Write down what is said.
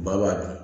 Maa b'a dun